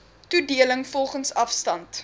toedeling volgens afstand